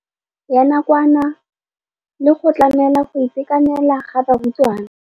Ya nakwana le go tlamela go itekanela ga barutwana.